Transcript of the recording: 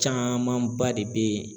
Camanba de be yen